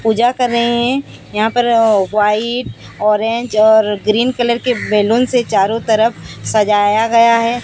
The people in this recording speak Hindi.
पूजा कर रही है यहां पर व्हाइट ऑरेंज और ग्रीन कलर के बैलून से चारों तरफ सजाया गया हैं।